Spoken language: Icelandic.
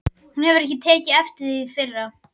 Hún hefur ekki tekið eftir því fyrr.